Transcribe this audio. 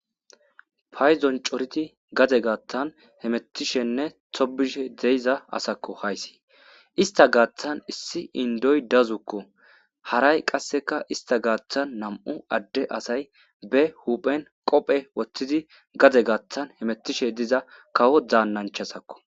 payzon coridi gade gaattan hemettishenne tobishe deyiza asakko haysi istta gaththan issi indoy dassukko haray qassekka istta gaththan nam'u adde asay be huphphen qophphe woththiidi gade gattan hemettishe diza kawo dannanchchattakko